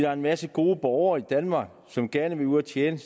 er en masse gode borgere i danmark som gerne vil ud at tjene